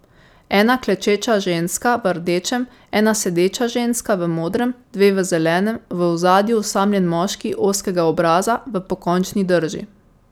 Ena klečeča ženska v rdečem, ena sedeča ženska v modrem, dve v zelenem, v ozadju osamljen moški ozkega obraza v pokončni drži.